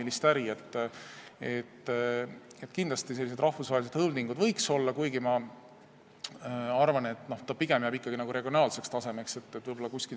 Kindlasti võiksid olla siin sellised rahvusvahelised holding'ud, kuigi ma arvan, et see jääb pigem regionaalsele tasemele.